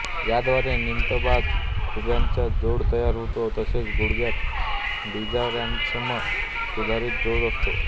याद्वारे नीतंबात खुब्याचा जोड तयार होतो तसेच गुडघ्यात बिजागऱ्यासम सुधारीत जोड असतो